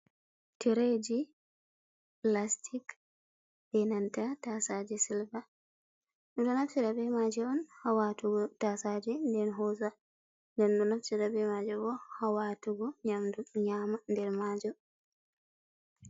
Tireji plastic ,be nanta tasaji silva firb maje on hawatugo tasaji den hosa dennfirbmaj bo hawatugo nyamdu nyama nder majo.